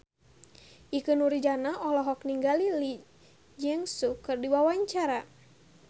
Ikke Nurjanah olohok ningali Lee Jeong Suk keur diwawancara